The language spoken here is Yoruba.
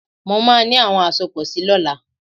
Mo máa ní àwọn àsopọ̀ si lọ́la.